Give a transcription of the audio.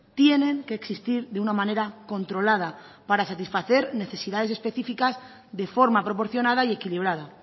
tienen que existir de una manera controlada para satisfacer necesidades específicas de forma proporcionada y equilibrada